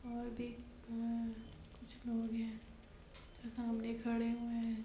और भी अ कुछ लोग हैं जो सामने खड़े हुए हैं।